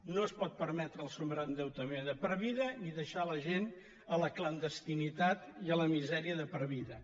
no es pot permetre el sobreendeutament de per vida ni deixar la gent a la clandestinitat i a la misèria de per vida